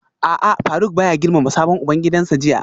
A'a Faruk baya girmama sabon ubangidansa jiya